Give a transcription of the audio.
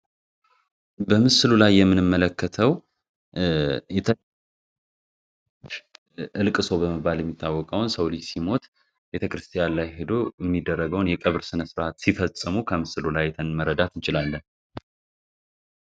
በምስሉ ላይ የምንም መለከተው እልቅ ሰው በመባል የሚታወቀውን ሰውሊጅ ሲሞት የተክርስቲያን ላይ ሄዶ የሚደረገውን የቅብር ስነ ሥርዓት ሲፈጽሙ ከምስሉ ላይ የተንመረዳት እንችላል፡፡